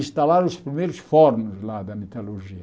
Instalaram os primeiros fornos lá da metalurgia.